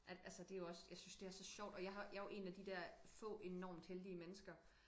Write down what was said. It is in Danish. At altså det jo også jeg synes det er så sjovt og jeg har jeg er jo én af de der få enormt heldig mennesker